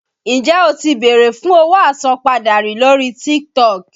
Ǹjẹ́ o ti bèrè fún owó àsanpadà rí lórí TikTok?